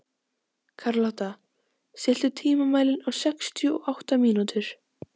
Karlotta, stilltu tímamælinn á sextíu og átta mínútur.